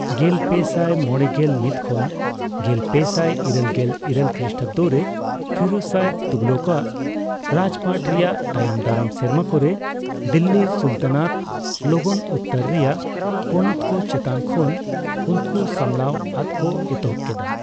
ᱜᱮᱞᱯᱮᱥᱟᱭ ᱢᱚᱲᱮᱜᱮᱞ ᱢᱤᱛ ᱠᱷᱚᱱ ᱜᱮᱞᱯᱮᱥᱟᱭ ᱤᱨᱟᱹᱞᱜᱮᱞ ᱤᱨᱟᱹᱞ ᱠᱨᱤᱥᱴᱟᱵᱫᱚ ᱨᱮ ᱯᱷᱤᱨᱳᱡ ᱥᱟᱦᱚ ᱛᱩᱜᱷᱞᱚᱠᱟᱜ ᱨᱟᱡᱯᱟᱴ ᱨᱮᱭᱟᱜ ᱛᱟᱭᱚᱢᱫᱟᱨᱟᱢ ᱥᱮᱨᱢᱟ ᱠᱚᱨᱮ ᱫᱤᱞᱞᱤ ᱥᱟᱞᱛᱟᱱᱟᱛ ᱞᱚᱜᱚᱱ ᱩᱛᱛᱚᱨ ᱨᱮᱭᱟᱜ ᱯᱚᱱᱚᱛ ᱠᱚ ᱪᱮᱛᱟᱱ ᱠᱷᱚᱱ ᱩᱱᱠᱩ ᱥᱟᱢᱵᱲᱟᱣ ᱟᱫ ᱠᱚ ᱮᱛᱚᱦᱚᱵᱽ ᱠᱮᱫᱟ ᱾